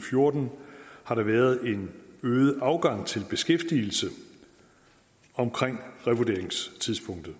fjorten har der været en øget afgang til beskæftigelse omkring revurderingstidspunktet